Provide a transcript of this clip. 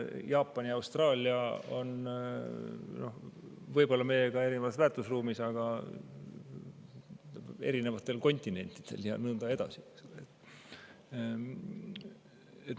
Jaapan ja Austraalia on võib-olla meiega väärtusruumis, aga erinevatel kontinentidel ja nõnda edasi.